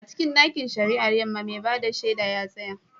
A cikin ɗakin shari'ar Yamma, mai ba da shaida ya tsaya.